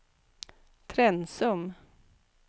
Trensum